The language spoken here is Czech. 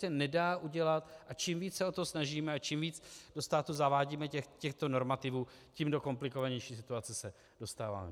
A čím víc se o to snažíme a čím víc do státu zavádíme těchto normativů, do tím komplikovanější situace se dostáváme.